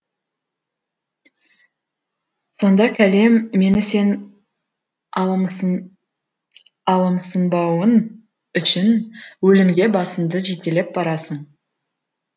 сонда кәлем мені сен алымсынбауың үшін өлімге басыңды жетелеп барасың